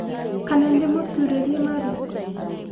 kana ndĩmuturĩrie maru